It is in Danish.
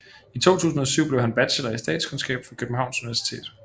I 2007 blev han bachelor i statskundskab fra Københavns Universitet